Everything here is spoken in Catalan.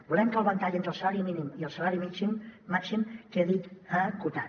volem que el ventall entre el salari mínim i el salari màxim quedi acotat